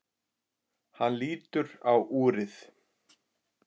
Hann lítur á úrið.